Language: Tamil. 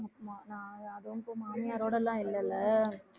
ஆமா நான் அதுவும் இப்போ மாமியாரோடெல்லாம் இல்லைல்ல